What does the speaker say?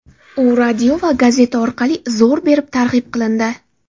U radio va gazeta orqali zo‘r berib targ‘ib qilindi.